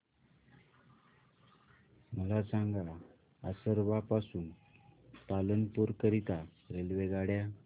मला सांगा असरवा पासून पालनपुर करीता रेल्वेगाड्या